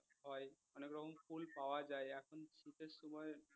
অনেক রকম ফুল পাওয়া যায় এখন শীতের সময়